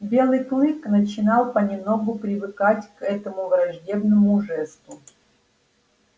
белый клык начинал понемногу привыкать к этому враждебному жесту